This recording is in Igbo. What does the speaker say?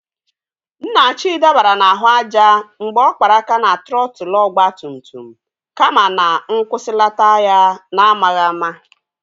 Nnachi dabara n'ahụ aja mgbe ọ kpara aka na trọtul ọgbatumtum kama na nkwusilata ya n'amaghị ama.